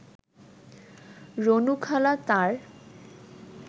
রুনুখালা তাঁর